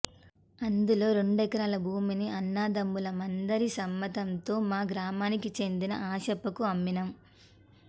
అందులో రెండెకరాల భూమిని అన్నదమ్ములం అందరి సమ్మతంతో మా గ్రామానికి చెందిన ఆశప్పకు అమ్మినం